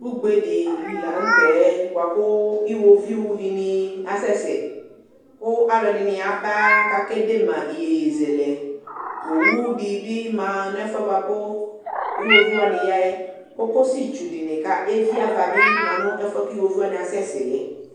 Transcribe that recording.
ʋgbɛ dili lantɛ bʋakʋ iwɔviʋ dini asɛsɛ kʋ alʋɛdini yaba kʋ akɛ d3ma iyɛzɛlɛ, ɔwʋ dibi manʋ ɛƒʋɛ bʋakʋ iwɔviʋ wani yaɛ, kɔkɔsi tsʋ dini bikʋ ɛvi aɣa manʋ ɛƒʋɛ kʋ iwɔviʋ wani asɛsɛ